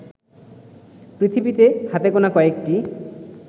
পৃথিবীতে হাতে গোনা কয়েকটি